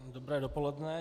Dobré dopoledne.